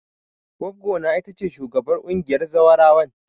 Goggona ita ce shugabar ƙungiyar zawarawan.